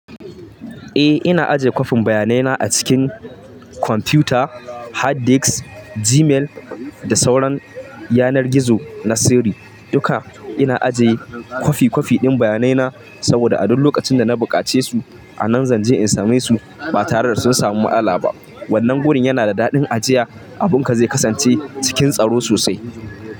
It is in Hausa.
Eh ina ajiye kwafin bayanai na a cikin kwamfuta, hard disk, Gmail da sauran yanar gizo na sirri. Duka ina ajiye kwafi kwafi ɗin bayanai na saboda a duk lokacin da na buƙace su a nan zanje in same su ba tare da sun samu matsala ba. Wannan gurin yana da daɗin ajiya, abunka zai kasance cikin tsaro sosai.